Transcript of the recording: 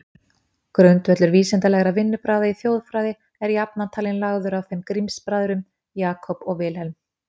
Grundvöllur vísindalegra vinnubragða í þjóðfræði er jafnan talinn lagður af þeim Grimms-bræðrum, Jacob og Wilhelm.